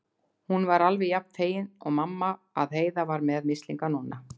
Hún var alveg jafn fegin og mamma að Heiða var með mislinga núna.